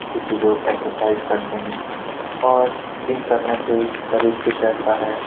जिससे की लोग एक्सरसाइज करते हैं और जिम करने से शरीर फिट रहता है।